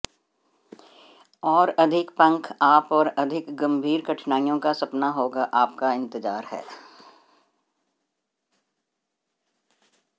और अधिक पंख आप और अधिक गंभीर कठिनाइयों का सपना होगा आप का इंतजार है